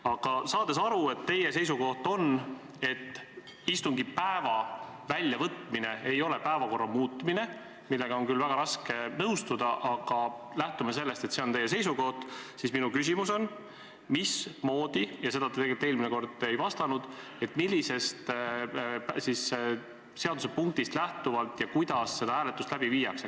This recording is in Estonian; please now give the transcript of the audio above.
Aga saades aru, et teie seisukoht on selline, et istungipäeva väljavõtmine ei ole päevakorra muutmine, millega mul on küll väga raske nõustuda, aga lähtume sellest, et see on teie seisukoht, on mul küsimus – ja sellele te tegelikult eelmine kord ei vastanud –, et millisest seadusesättest lähtuvalt ja kuidas seda hääletust läbi viiakse.